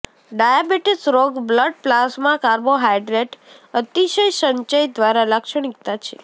diabetes રોગ blood plasma carbohydrate અતિશય સંચય દ્વારા લાક્ષણિકતા છે